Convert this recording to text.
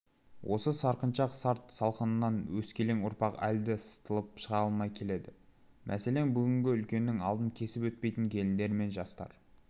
осы сарқыншақ салт салқынынан өскелең ұрпақ әлі де сытылып шыға алмай келеді мәселен бүгінде үлкеннің алдын кесіп өтпейтін келіндер мен жастар